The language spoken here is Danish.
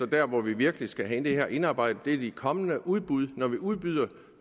der hvor vi virkelig skal have det her indarbejdet i de kommende udbud når vi udbyder